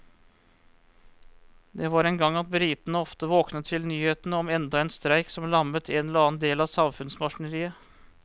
Det var en gang at britene ofte våknet til nyhetene om enda en streik som lammet en eller annen del av samfunnsmaskineriet.